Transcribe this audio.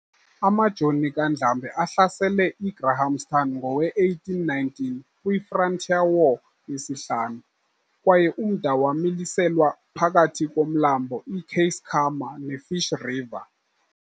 Amajoni kaNdlambe ahlasele i"Grahamstown" ngowe-1819, kwi-"frontier war" yesihlanu, kwaye umda wamiliselwa phakathi komlambo iKeiskamma ne-Fish river.